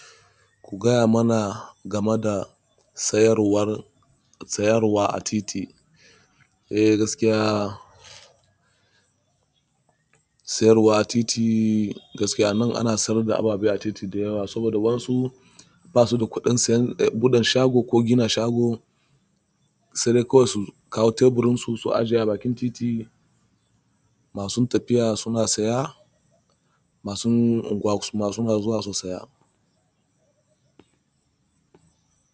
Ku gaya mana game da sayarwar, sayarwa a titi. Eh gaskiya sayar da abu a titi gaskiya nan ana sayar da abu a titi da yawa saboda wasu basu da kuɗin gina shago sai dai kawai su kawo teburinsu su zuba kayansu a bakin titi. Masun tafiya suna saya, masun unguwa suma suna zuwa su saya.